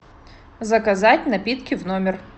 заказать напитки в номер